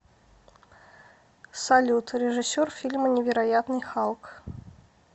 салют режиссер фильма невероятный халк